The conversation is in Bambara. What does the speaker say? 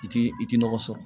I ti i ti nɔgɔ sɔrɔ